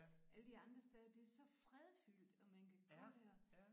Alle de andre steder det så fredfyldt og man kan gå der